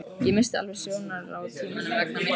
Ég missti alveg sjónar á tímanum vegna myrkursins